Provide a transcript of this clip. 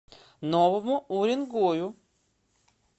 новому уренгою